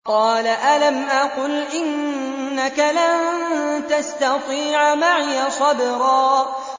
قَالَ أَلَمْ أَقُلْ إِنَّكَ لَن تَسْتَطِيعَ مَعِيَ صَبْرًا